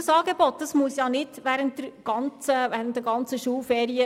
Dieses Angebot muss nicht während den ganzen Schulferien bestehen.